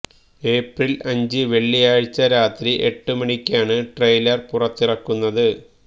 April അഞ്ച് വെള്ളിയാഴ്ച്ച രാത്രി എട്ട് മണിക്കാണ് ട്രെയിലര് പുറത്തിറക്കുന്നത്